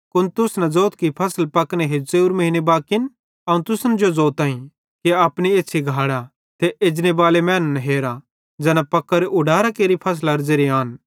कुन तुस न ज़ोथ कि फसल पकने हेजू च़ेव्रे महीन्न बाकिन अवं तुसन जो ज़ोताईं कि अपनी एछ़्छ़ी घाड़ा ते एजनेबाले मैनन् हेरा ज़ैना पक्कोरे ऊडारां केरि फसलारे ज़ेरे आन